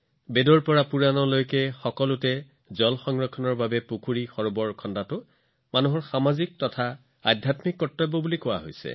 বেদৰ পৰা পুৰাণলৈকে সকলো ঠাইতে পানী সংৰক্ষণ কৰিবলৈ পুখুৰী হ্ৰদ আদি নিৰ্মাণ কৰিবলৈ মানুহৰ সামাজিক আৰু আধ্যাত্মিক কৰ্তব্য বৰ্ণনা কৰা হৈছে